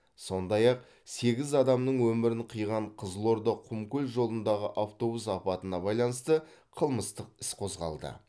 сондай ақ сегіз адамның өмірін қиған қызылорда құмкөл жолындағы автобус апатына байланысты қылмыстық іс қозғалды